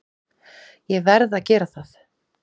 Ég verð að gera það!